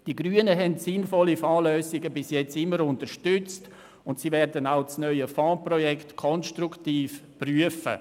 Die Grünen haben sinnvolle Fondslösungen bisher immer unterstützt und sie werden auch das neue Fondsprojekt konstruktiv prüfen.